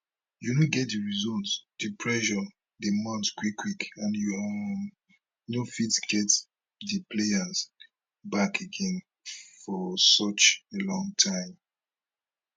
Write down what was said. you no get di results di pressure dey mount quickquick and you um no fit get [di players] back again for such a long time